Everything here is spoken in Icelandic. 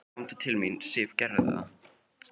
Komdu til mín, Sif, gerðu það.